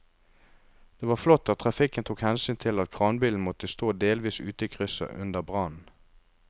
Det var flott at trafikken tok hensyn til at kranbilen måtte stå delvis ute i krysset under brannen.